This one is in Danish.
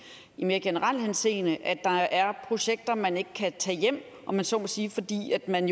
i mere generel henseende at der er projekter man ikke kan tage hjem om jeg så må sige fordi man